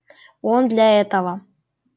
он для этого